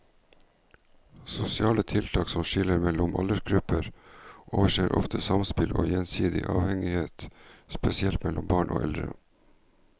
Sosiale tiltak som skiller mellom aldersgrupper overser ofte samspill og gjensidig avhengighet, spesielt mellom barn og eldre.